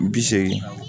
Bi seegin